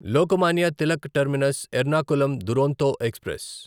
Lokmanya Tilak Terminus Ernakulam Duronto express